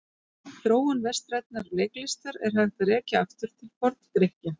Þróun vestrænnar leiklistar er hægt að rekja aftur til Forngrikkja.